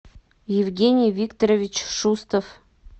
евгений викторович шустов